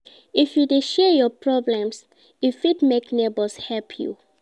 If you dey share your problem e fit make nebors help you.